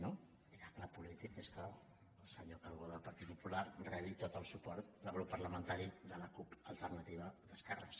no miracle polític és que el senyor calbó del partit popular rebi tot el suport del grup parlamentari de la cup alternativa d’esquerres